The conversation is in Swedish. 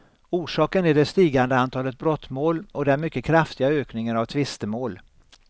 Orsaken är det stigande antalet brottmål och den mycket kraftiga ökningen av tvistemål.